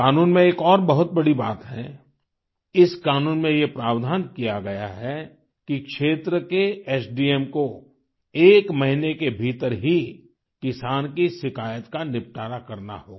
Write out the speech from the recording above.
कानून में एक और बहुत बड़ी बात है इस क़ानून में ये प्रावधान किया गया है कि क्षेत्र के एसडीएमSDM को एक महीने के भीतर ही किसान की शिकायत का निपटारा करना होगा